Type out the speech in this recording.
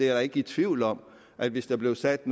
er ikke i tvivl om at hvis der blev sat